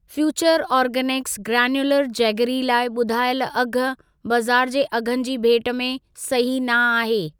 Future organics granular, jaggery लाइ ॿुधायल अघि बाज़ार जे अघनि जी भेट में सही न आहे।